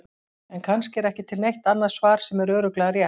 En kannski er ekki til neitt annað svar sem er örugglega rétt.